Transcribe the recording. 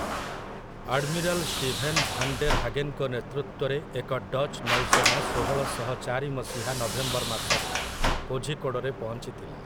Admiral Steven van der ହାଗେନ୍‌ଙ୍କ ନେତୃତ୍ୱରେ ଏକ ଡଚ୍ ନୌସେନା ଷୋହଳଶହ ଚାରି ମସିହା ନଭେମ୍ବର ମାସରେ କୋଝିକୋଡ଼ରେ ପହଞ୍ଚି ଥିଲା ।